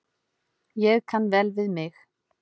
Ég kann vel við mig.